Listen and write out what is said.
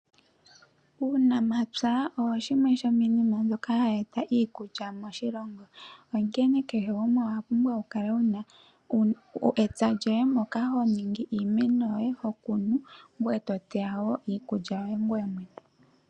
Uunamapya owo shimwe shomiinima mbyoka hayi eta iikulya moshilongo. Onkene kehe gumwe owa pumbwa oku kala wu na etsa lyoye moka ho ningi iimeno yoye, ho kunu ngoye to teya wo iikulya yoye ngoye mwene.